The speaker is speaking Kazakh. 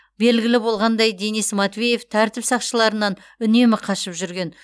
белгілі болғандай денис матвеев тәртіп сақшыларынан үнемі қашып жүрген